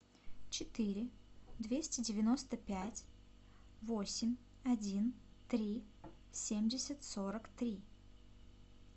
четыре двести девяносто пять восемь один три семьдесят сорок три